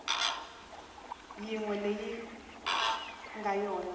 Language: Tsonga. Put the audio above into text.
yin we leyi nga yona